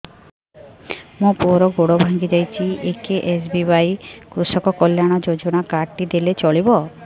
ମୋ ପୁଅର ଗୋଡ଼ ଭାଙ୍ଗି ଯାଇଛି ଏ କେ.ଏସ୍.ବି.ୱାଇ କୃଷକ କଲ୍ୟାଣ ଯୋଜନା କାର୍ଡ ଟି ଦେଲେ ଚଳିବ